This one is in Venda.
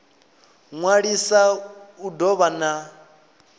ṅwalisa u do vha e